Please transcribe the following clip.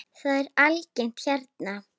Það er algengt hérna.